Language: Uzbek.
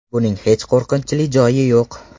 Buning hech qo‘rqinchli joyi yo‘q.